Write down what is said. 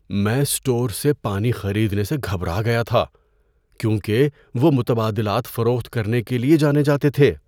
میں اسٹور سے پانی خریدنے سے گھبرا گیا تھا کیونکہ وہ متبادلات فروخت کرنے کے لیے جانے جاتے تھے۔